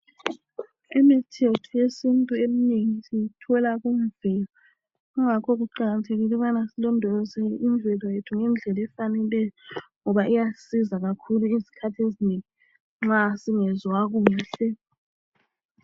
Imithi yethu yesintu eminengi siyithola kanzima yingakho kuqakathekile ukuthi silondoloze imvelo ngedlela efaneleyo ngoba iyasisiza izikhathi ezinengi nxa singezwa kuhle.